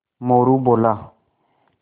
मोरू बोला